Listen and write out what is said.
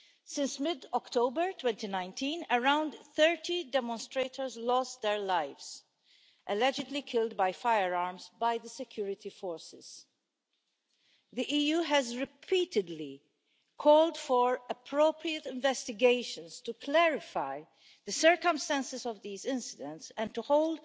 Since mid October 2019, around 30 demonstrators have lost their lives, allegedly killed by firearms by the security forces. The EU has repeatedly called for appropriate investigations to clarify the circumstances of these incidents and to hold